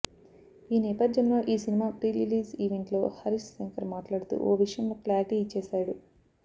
ఈ నేపథ్యంలో ఈ సినిమా ప్రీ రిలీజ్ ఈవెంట్ లో హరీశ్ శంకర్ మాట్లాడుతూ ఓ విషయంలో క్లారిటీ ఇచ్చేశాడు